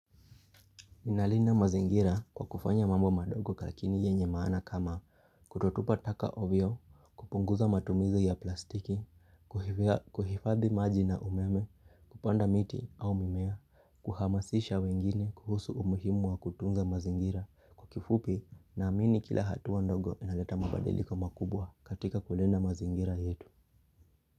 Ninalinda mazingira kwa kufanya mambo madogo lakini yenye maana kama kutotupa taka ovyo, kupunguza matumizi ya plastiki, kuhifadhi maji na umeme, kupanda miti au mimea, kuhamasisha wengine kuhusu umuhimu wa kutunza mazingira, kwa kifupi naamini kila hatua ndogo inaleta mabadiliko makubwa katika kulinda mazingira yetu.